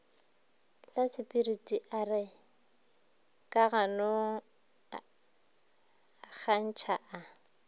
lasepiriti a re kaganongkatšaa a